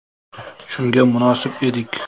Shunga munosib edik.